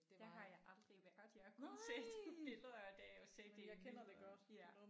Der har jeg aldrig været jeg har kun set billeder da jeg var set det i billeder ja